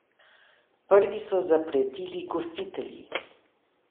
Prvi so zapretili gostitelji.